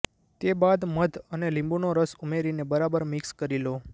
તે બાદ મધ અને લીંબુનો રસ ઉમેરીને બરાબર મિક્સ કરી લો